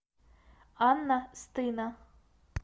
анна стына